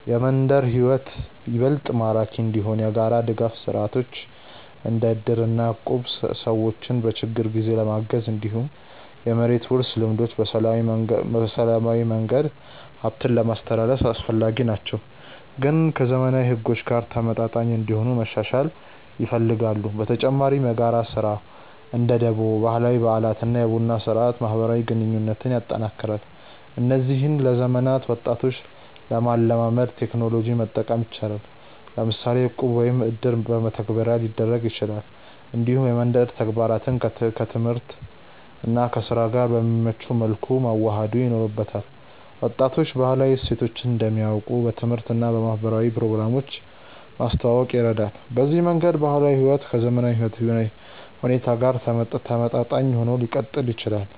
የመንደር ሕይወት ይበልጥ ማራኪ እንዲሆን የጋራ ድጋፍ ስርዓቶች እንደ እድር እና እቁብ ሰዎችን በችግር ጊዜ ለማገዝ፣ እንዲሁም የመሬት ውርስ ልምዶች በሰላማዊ መንገድ ሀብትን ለማስትላልፍ አስፈላጊ ናቸው፣ ግን ከዘመናዊ ሕጎች ጋር ተመጣጣኝ እንዲሆኑ መሻሻል ይፈልጋሉ። በተጨማሪ የጋራ ስራ (እንደ ደቦ)፣ ባህላዊ በዓላት እና የቡና ስርአት ማህበራዊ ግንኙነትን ያጠናክራሉ። እነዚህን ለዘመናዊ ወጣቶች ለማላመድ ቴክኖሎጂ መጠቀም ይቻላል፤ ለምሳሌ እቁብ ወይም እድር በመተግበሪያ ሊደረግ ይችላል። እንዲሁም የመንደር ተግባራትን ከትምህርት እና ከስራ ጋር በሚመች መልኩ መዋሃድ ይኖርበታል። ወጣቶች ባህላዊ እሴቶችን እንዲያውቁ በትምህርት እና በማህበራዊ ፕሮግራሞች ማስተዋወቅ ይረዳል። በዚህ መንገድ ባህላዊ ሕይወት ከዘመናዊ ሁኔታ ጋር ተመጣጣኝ ሆኖ ሊቀጥል ይችላል።